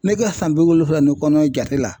Ne ka san bi wolonwula ni kɔnɔ jate la